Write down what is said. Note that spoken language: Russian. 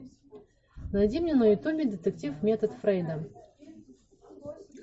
найди мне на ютубе детектив метод фрейда